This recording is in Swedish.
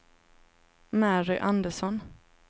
Mary Andersson